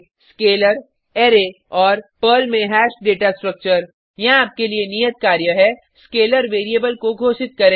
scalar array और Perl में hash data structure यहाँ आपके लिए नियत कार्य है स्केलर वेरिएबल को घोषित करें